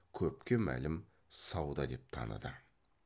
көпке мәлім сауда деп таныды